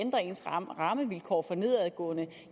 ændrer ens rammevilkår for nedadgående